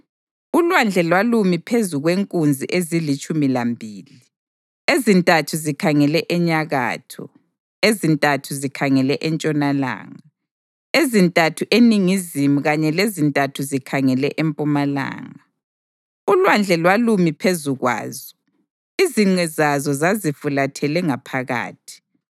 ULwandle lwalumi phezu kwenkunzi ezilitshumi lambili, ezintathu zikhangele enyakatho, ezintathu zikhangele entshonalanga, ezintathu eningizimu kanye lezintathu zikhangele empumalanga. ULwandle lwalumi phezu kwazo, izinqe zazo zazifulathele ngaphakathi.